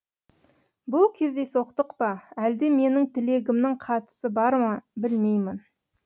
бұл кездейсоқтық па әлде менің тілегімнің қатысы бар ма білмеймін